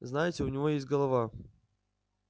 знаете у него есть голова